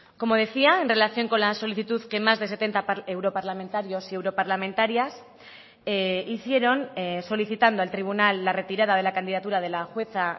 como decía en relación con la solicitud que más de setenta europarlamentarios y europarlamentarias hicieron solicitando al tribunal la retirada de la candidatura de la jueza